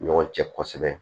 Ɲɔgɔn cɛ kosɛbɛ